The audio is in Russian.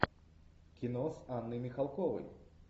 кино с анной михалковой